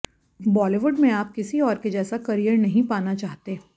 बॉलीवुड में आप किसी और के जैसा करियर नहीं पाना चाहते